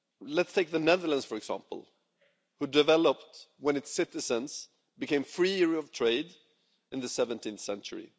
Let's take the Netherlands, for example, which developed when its citizens became freer to trade in the 17th century